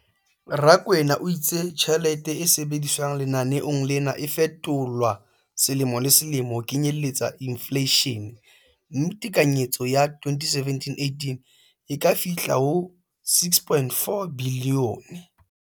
Rakwena o itse tjhelete e sebediswang lenaneong lena e fetolwa selemo le selemo ho kenyelletsa infleishene, mme tekanyetso ya 2017-18 e ka fihla ho R6.4 bilione.